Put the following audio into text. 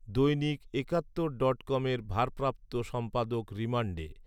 দৈনিক একাত্তর ডটকমের ভারপ্রাপ্ত সম্পাদক রিমান্ডে